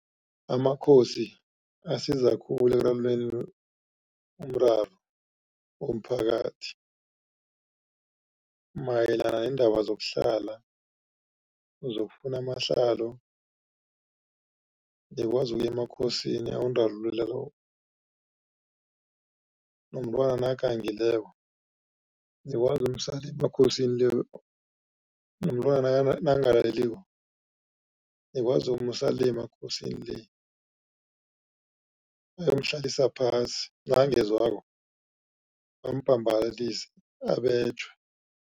Amakhosi asiza khulu ekulamuleni umraro womphakathi mayelana neendaba zokuhlala, zokufuna amahlalo, nikwazi ukuya emakhosini ayonirarululela . Nomntwana nakagangileko nikwazi ukumusa le emakhosini le, nomntwana nakangalaleliko nikwazi ukumusa le emakhosini le bayomhlalisa phasi, nakangezwako bambhambalalise abetjhwe.